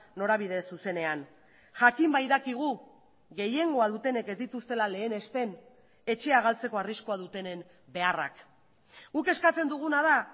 norabide zuzenean jakin badakigu gehiengoa dutenek ez dituztela lehenesten etxea galtzeko arriskua dutenen beharrak guk eskatzen duguna da